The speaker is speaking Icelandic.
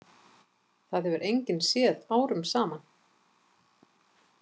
Það hefur enginn séð árum saman.